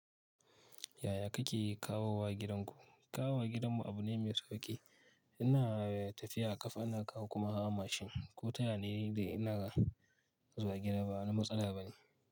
Yaya kake kawowa gidanku? Kawowa gidanmu abu ne mai sauƙi. Ina tafiya ƙafa, ina kawo kuma hawa mashin ko tayaya ne dai ina zuwa gida. Bawani matsala bane.